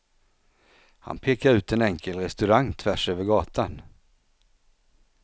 Han pekar ut en enkel restaurang tvärs över gatan.